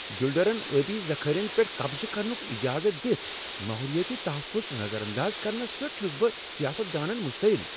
بلڈرن آبی ذخیرن پیٹھ قبضہٕ کرنک اجازت دتھ ماحولیٲتی تحفظ نظر انداز کرنس پیٹھ چھُس بہ سیاست دانن پیٹھ مشتعل۔